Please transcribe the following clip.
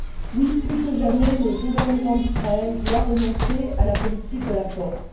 Oui, plus que jamais, le gouvernement d'Israël doit renoncer à la politique de la force.